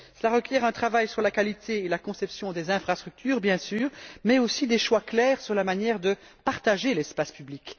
Cela requiert un travail sur la qualité et la conception des infrastructures, bien sûr, mais aussi des choix clairs sur la manière de partager l'espace public.